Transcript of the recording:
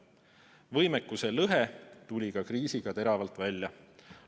Võimekuse lõhe tuli kriisiga teravalt välja.